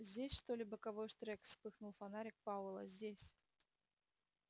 здесь что ли боковой штрек вспыхнул фонарик пауэлла здесь